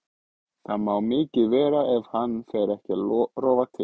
Það má mikið vera ef hann fer ekki að rofa til.